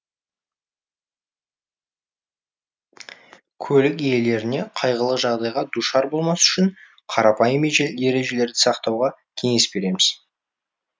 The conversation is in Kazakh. көлік иелеріне қайғылы жағдайға душар болмас үшін қарапайым ережелерді сақтауға кеңес береміз